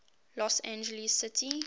los angeles city